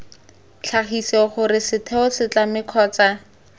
tlhagise gore setheo setlamo kgotsa